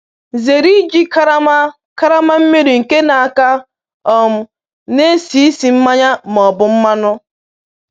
Zere iji karama karama mmiri nke na ka um na-esi ísì mmanya ma ọ bụ mmanụ.